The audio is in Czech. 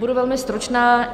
Budu velmi stručná.